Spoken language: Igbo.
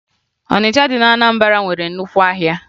Ọnịcha dị na Anambara nwere nnukwu ahịa